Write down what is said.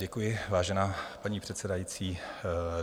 Děkuji, vážená paní předsedající.